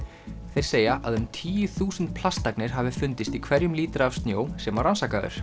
þeir segja að um tíu þúsund plastagnir hafi fundist í hverjum lítra af snjó sem var rannsakaður